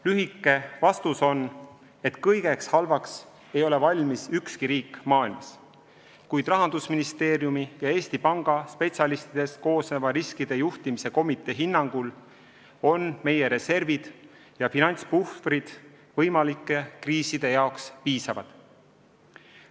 Lühike vastus on, et kõigeks halvaks ei ole valmis ükski riik maailmas, kuid Rahandusministeeriumi ja Eesti Panga spetsialistidest koosneva riskide juhtimise komitee hinnangul on meie reservid ja finantspuhvrid võimalike kriiside jaoks piisavad.